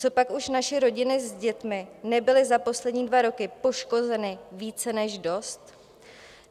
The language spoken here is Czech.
Copak už naše rodiny se dětmi nebyly za poslední dva roky poškozeny více než dost?